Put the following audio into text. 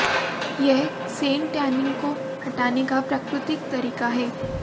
यह sun tanning को हटाने का प्राकृतिक तरीका है